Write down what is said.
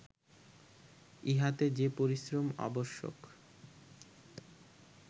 ইহাতে যে পরিশ্রম আবশ্যক